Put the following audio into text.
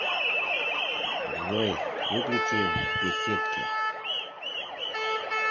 джой выключи в беседке